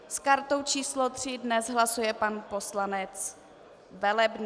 S kartou číslo 3 dnes hlasuje pan poslanec Velebný.